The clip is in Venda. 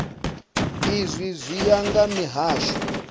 izwi zwi ya nga mihasho